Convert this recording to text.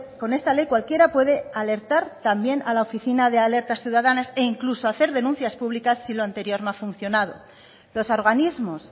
con esta ley cualquiera puede alertar también a la oficina de alertas ciudadanas e incluso hacer denuncias públicas si lo anterior no ha funcionado los organismos